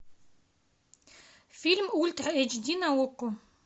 фильм ультра эйч ди на окко